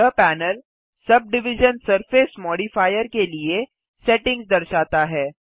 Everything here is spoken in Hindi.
यह panel subdivision surface modifier के लिए सेटिंग्स दर्शाता है